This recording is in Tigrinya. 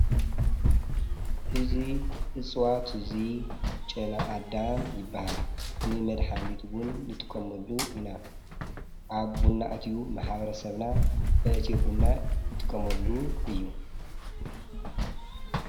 እዙይ እፅዋት እዙይ ጨነኣዳም ይበሃል ንመድኃኒትውን ንጥቆመሉ ኢና ኣብ ቦናእትዩ መሓበረ ሰብና ኣእቲዮብና ይትቀመሉ እዩ።